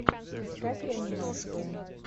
искать реанимацию